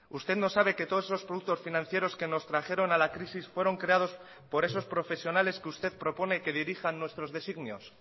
usted no sabe que todos esos productos financieros que nos trajeron a la crisis fueron creados por esos profesionales que usted propone que dirijan nuestros designios